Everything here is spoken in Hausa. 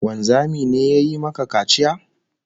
Wanzami ne ya yi maka kaciya?